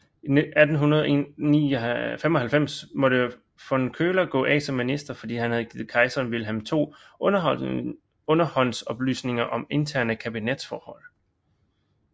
I 1895 måtte von Köller gå af som minister fordi han havde givet kejseren Wilhelm 2 underhåndsoplysninger om interne kabinetsforhold